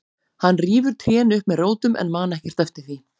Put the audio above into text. Hann rífur trén upp með rótum en man ekkert eftir því.